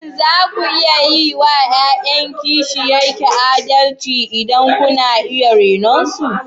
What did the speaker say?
Shin za ku yi wa ’ya’yan kishiyan ki adalci idan kuna iya renon su?